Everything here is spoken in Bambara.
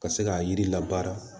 Ka se k'a yiri la baara